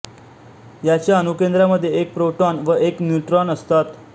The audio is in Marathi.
याच्या अणुकेंद्रामध्ये एक प्रोटॉन व एक न्यूट्रॉन असतात